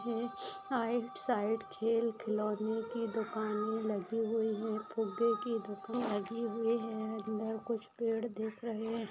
आइट side खेल खिलौने के दुकाने लगी हुई है फुग्गे की दुकान लगी हुई है अंदर कुछ पेड़ दिख रहे है।